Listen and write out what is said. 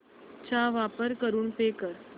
चा वापर करून पे कर